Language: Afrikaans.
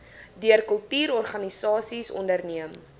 deur kultuurorganisasies onderneem